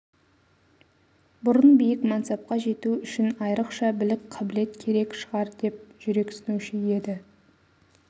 бұрын биік мансапқа жету үшін айрықша білік қабілет керек шығар деп жүрексінуші еді